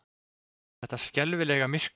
Þetta skelfilega myrkur!